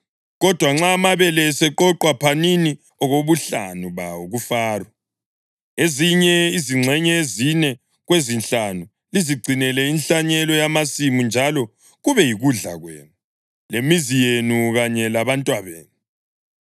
Kodwa nxa amabele eseqoqwa phanini okobuhlanu bawo kuFaro. Ezinye izingxenye ezine kwezinhlanu lizigcinele inhlanyelo yamasimu njalo kube yikudla kwenu, lemizi yenu kanye labantwabenu.”